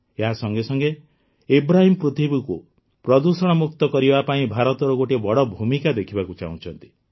ଏହା ସଙ୍ଗେସଙ୍ଗେ ଇବ୍ରାହିମ୍ ପୃଥିବୀକୁ ପ୍ରଦୂଷଣମୁକ୍ତ କରିବା ପାଇଁ ଭାରତର ଗୋଟିଏ ବଡ଼ ଭୂମିକା ଦେଖିବାକୁ ଚାହୁଁଛନ୍ତି